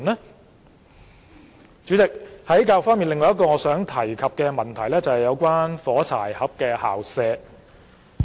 代理主席，在教育方面，另一個我想提及的問題是"火柴盒式校舍"。